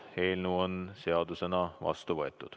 Eelnõu on seadusena vastu võetud.